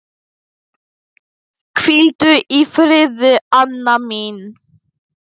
Hvíldu í friði, Anna mín.